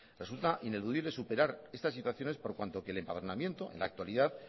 resulta ineludible superar estas situaciones por cuanto que el empadronamiento en la actualidad